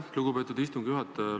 Aitäh, lugupeetud istungi juhataja!